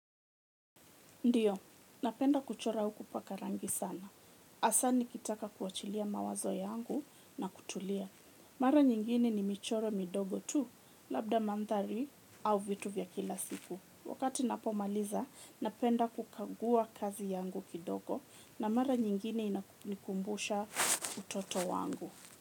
Ndiyo, napenda kuchora au paka rangi sana. Asa nikitaka kuachilia mawazo yangu na kutulia. Mara nyingine ni michoro midogo tu, labda mandhari au vitu vya kila siku. Wakati ninapomaliza, napenda kukagua kazi yangu kidogo na mara nyingine inamikumbusha utoto wangu.